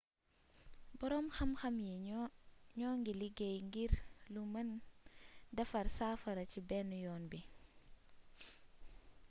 boroom xamxam yi ñoo ngi liggéey ngir lu mëne defar safara ci benn yoon bi